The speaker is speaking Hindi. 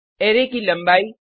अरै की लंबाई